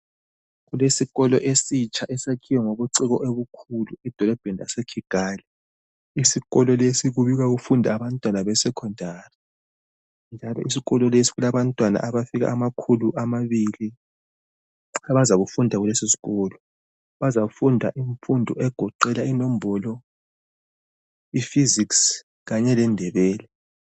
Kulesikolo esitsha esakhiwe ngobuciko obukhulu edolobheni laseKigali. Isikolo lesi kubikwa kufindw abantwana be secondary. Isikolo lesi kulabantwana abafika amakhulu amabili abazakufundq kulesisikolo. Bazafunda imfundo egoqela inombolo, i physics Kanye leNdebele.